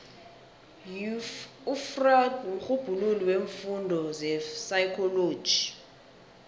ufreud mrhubhululi weemfundo zepsychology